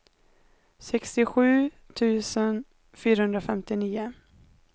sextiosju tusen fyrahundrafemtionio